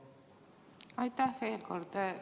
Aitäh veel kord!